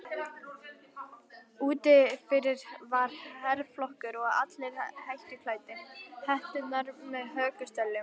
Úti fyrir var herflokkur og allir hettuklæddir, hetturnar með hökustöllum.